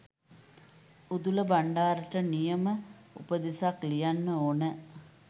උඳුල බණ්ඩාරට නියම උපදෙසක් ලියන්න ඕන